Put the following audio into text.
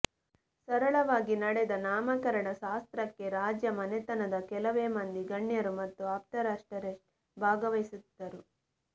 ಸರಳವಾಗಿ ನಡೆದ ನಾಮಕರಣ ಶಾಸ್ತ್ರಕ್ಕೆ ರಾಜ ಮನೆತನದ ಕೆಲವೇ ಮಂದಿ ಗಣ್ಯರು ಮತ್ತು ಆಪ್ತೇಷರಷ್ಟೆ ಭಾಗವಹಿಸಿದ್ದರು